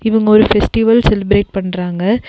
இவுங்க ஒரு festival celebrate பண்றாங்க.